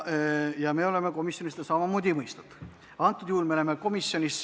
Ja me oleme komisjonis seda samamoodi mõistnud.